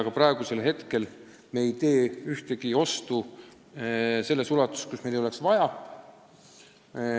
Ka praegu ei tee me ühtegi ostu, mida meil ei ole tingimata vaja.